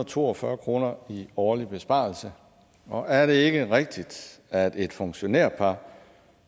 to og fyrre kroner i årlig besparelse og er det ikke rigtigt at et funktionærpar